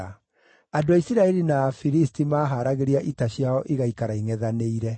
Andũ a Isiraeli na Afilisti maaharagĩria ita ciao igaikara ingʼethanĩire.